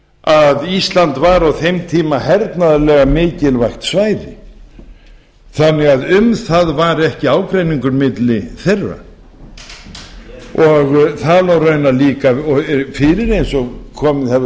að ísland var á þeim tíma hernaðarlega mikilvægt svæði þannig að um það var ekki ágreiningur milli þeirra það lá raunar líka fyrir eins og komið hefur